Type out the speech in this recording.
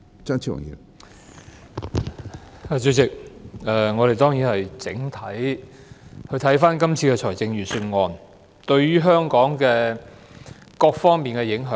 主席，我們當然要整體檢視今次財政預算案對香港各方面的影響。